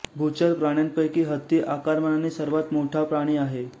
भूचर प्राण्यांपैकी हत्ती आकारमानाने सर्वांत मोठा प्राणी आहे